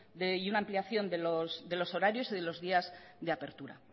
y una ampliación de los horarios y de los días de apertura